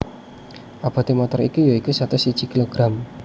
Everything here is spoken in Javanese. Abote motor iki ya iku satus siji kilogram